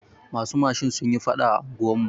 Masu mashin sunyi faɗa a unguwar mu.